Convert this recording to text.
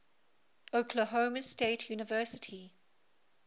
oklahoma state university